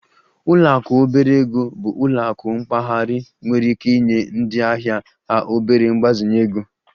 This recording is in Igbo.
Ụlọ akụ obere ego bụ ụlọ akụ mpaghara nwere ike inye ndị ahịa ha obere mgbazinye ego